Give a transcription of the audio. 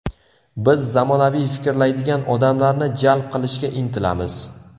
Biz zamonaviy fikrlaydigan odamlarni jalb qilishga intilamiz.